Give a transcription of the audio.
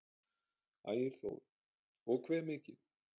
Ægir Þór: Og hve mikið?